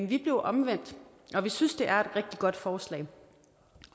vi blev omvendt og vi synes det er et rigtig godt forslag